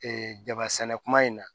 jaba sɛnɛ kuma in na